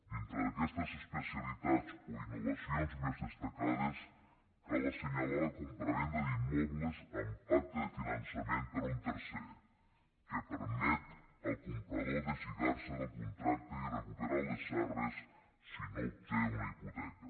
dintre d’aquestes especialitats o innovacions més destacades cal assenyalar la compravenda d’immobles amb pacte de finançament per un tercer que permet al comprador deslligar se del contracte i recuperar les arres si no obté una hipoteca